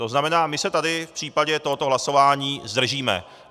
To znamená, my se tady v případě tohoto hlasování zdržíme.